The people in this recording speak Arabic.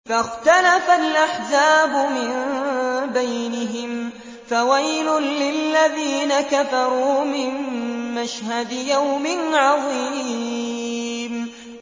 فَاخْتَلَفَ الْأَحْزَابُ مِن بَيْنِهِمْ ۖ فَوَيْلٌ لِّلَّذِينَ كَفَرُوا مِن مَّشْهَدِ يَوْمٍ عَظِيمٍ